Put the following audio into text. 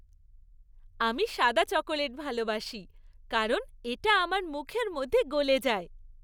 আমি সাদা চকোলেট ভালবাসি কারণ এটা আমার মুখের মধ্যে গলে যায়।